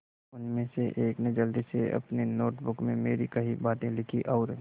उनमें से एक ने जल्दी से अपनी नोट बुक में मेरी कही बातें लिखीं और